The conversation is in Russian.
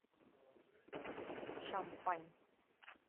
шампань